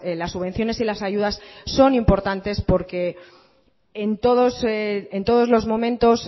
las subvenciones y las ayudas son importantes porque en todos los momento